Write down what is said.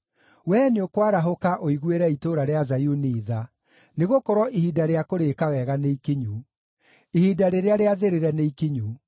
Wee nĩũkwarahũka ũiguĩre itũũra rĩa Zayuni tha, nĩgũkorwo ihinda rĩa kũrĩĩka wega nĩ ikinyu; ihinda rĩrĩa rĩathĩrĩre nĩ ikinyu.